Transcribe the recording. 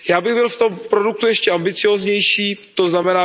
Já bych byl v tom produktu ještě ambicióznější, tzn.